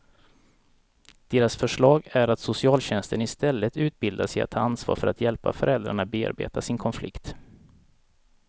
Deras förslag är att socialtjänsten istället utbildas i att ta ansvar för att hjälpa föräldrarna bearbeta sin konflikt.